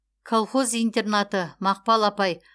колхоз интернаты мақпал апай